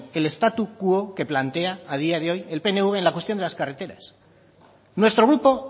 el statu quo que plantea a día de hoy el pnv en la cuestión de las carreteras nuestro grupo